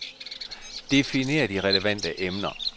Definer de relevante emner.